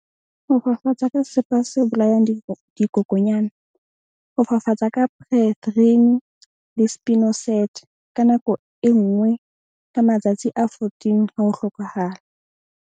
Ho fafatsa ka sesepa se bolayang dikokonyana. Ho fafatsa ka ka nako e nngwe ka matsatsi a fourteen ha ho hlokahala.